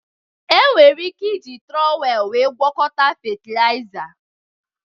Enwere ike iji trowel wéé gwọkọta fetịlaịza